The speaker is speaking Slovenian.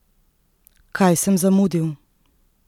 Kaj sem zamudil?